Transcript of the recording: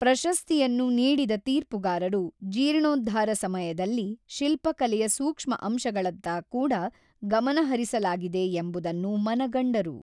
ಪ್ರಶಸ್ತಿಯನ್ನು ನೀಡಿದ ತೀರ್ಪುಗಾರರು ಜೀರ್ಣೋದ್ಧಾರ ಸಮಯದಲ್ಲಿ ಶಿಲ್ಪಕಲೆಯ ಸೂಕ್ಷ್ಮ ಅಂಶಗಳತ್ತ ಕೂಡಾ ಗಮನಹರಿಸಲಾಗಿದೆ ಎಂಬುದನ್ನು ಮನಗಂಡರು.